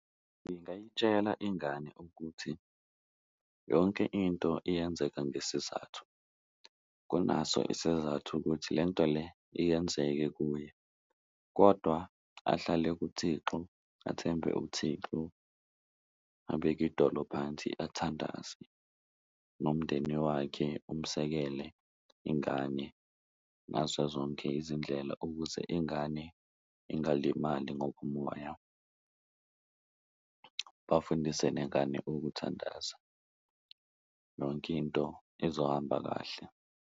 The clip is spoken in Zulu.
Ngingayitshela ingane ukuthi yonke into iyenzeka ngesizathu kunaso isizathu ukuthi le nto le iyenzeke kuye kodwa ahlale kuThixo, athembe uThixo abeke idolo phansi athandaze nomndeni wakhe umsekele ingane ngaso zonke izindlela. Ukuze ingane ingalimali ngokomoya bafundise nengane ukuthandaza, yonke into izohamba kahle.